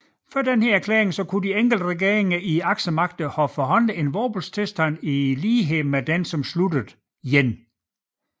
Før denne erklæring kunne de enkelte regeringer i Aksemagterne havde forhandlet en våbenstilstand i lighed med den som sluttede 1